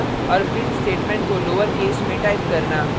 और print statement को lowercase में टाइप करना